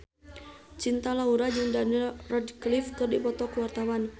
Cinta Laura jeung Daniel Radcliffe keur dipoto ku wartawan